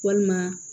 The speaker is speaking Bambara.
Walima